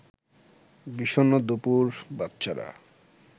বিষণ্ন দুপুর বাচ্চারা